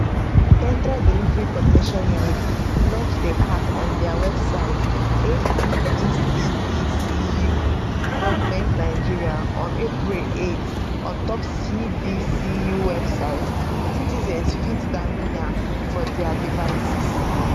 central delivery coordination unit launch di app on dia websiteappcdcugovngon april 8 ontop cdcu website citizens fit download am for dia devices